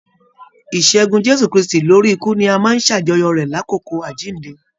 Ìṣẹgun Jésù kristi lórí ikú ní a máa n s'ajọ̀yọ rẹ l'akoko Àjínde.